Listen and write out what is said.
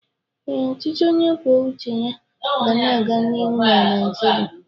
Ee, Ọchịchị onye kwuo uche ya ga na-aga n'ihu na Naịjirịa.